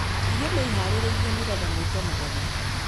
Irio nĩ iharĩrĩirio nigetha mwĩte mũgeni